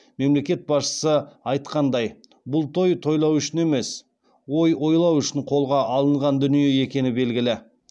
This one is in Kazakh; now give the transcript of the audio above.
мемлекет басшысы айтқандай бұл той тойлау үшін емес ой ойлау үшін қолға алынған дүние екені белгілі